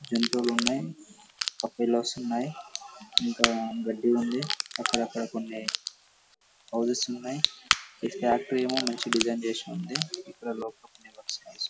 జంతువులు ఉన్నాయి బఫెలోస్ ఉన్నాయి ఇంకా గడ్డి ఉంది అక్కడక్కడ కొన్ని ఉన్నాయి. ఇది ఫ్యాక్టరీ ఏమో మంచి డిజైన్ చేసిఉంది.